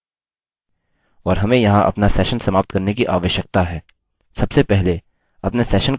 और हमें यहाँ अपना सेशन समाप्त करने की आवश्यकता है